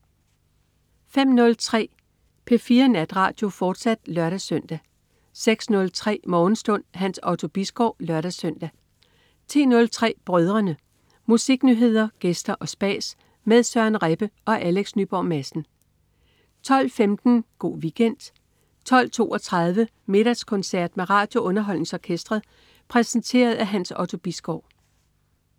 05.03 P4 Natradio, fortsat (lør-søn) 06.03 Morgenstund. Hans Otto Bisgaard (lør-søn) 10.03 Brødrene. Musiknyheder, gæster og spas med Søren Rebbe og Alex Nyborg Madsen 12.15 Go' Weekend 12.32 Middagskoncert med RadioUnderholdningsOrkestret. Præsenteret af Hans Otto Bisgaard